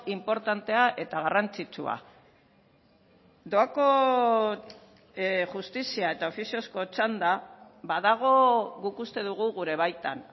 inportantea eta garrantzitsua doako justizia eta ofiziozko txanda badago guk uste dugu gure baitan